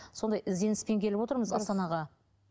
сондай ізденіспен келіп отырмыз астанаға